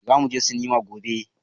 Zamu je sinima gobe.